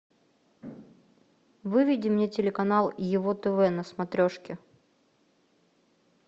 выведи мне телеканал его тв на смотрешке